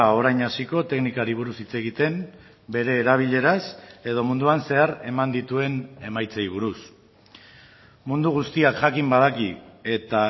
orain hasiko teknikari buruz hitz egiten bere erabileraz edo munduan zehar eman dituen emaitzei buruz mundu guztiak jakin badaki eta